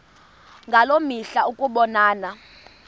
ngaloo mihla ukubonana